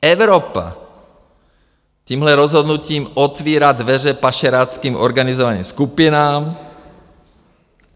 Evropa tímhle rozhodnutím otvírá dveře pašeráckým organizovaným skupinám.